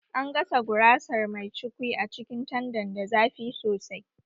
An gasa gurasar mai cukwi a cikin tandan da zafi sosai